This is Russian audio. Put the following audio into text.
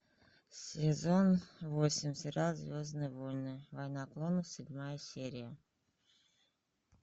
сезон восемь сериал звездные войны война клонов седьмая серия